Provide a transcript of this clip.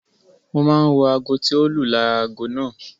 Mo máa ń wo aago tí o lù lára aago náà.